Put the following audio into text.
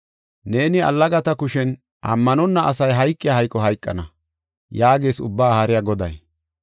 Neeni allagata kushen ammanonna asi hayqiya hayqo hayqana” yaagees Ubbaa Haariya Goday.